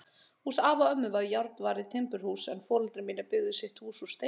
Hús afa og ömmu var járnvarið timburhús en foreldrar mínir byggðu sitt hús úr steini.